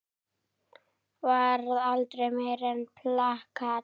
Varð aldrei meira en plakat.